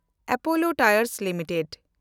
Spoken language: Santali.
ᱟᱯᱚᱞᱳ ᱴᱟᱭᱮᱱᱰ ᱞᱤᱢᱤᱴᱮᱰ